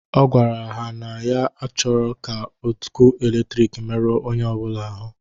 Ọ gwara ha na ya achọrọ ka ọkụ eletrik meru onye ọbụla ahụ.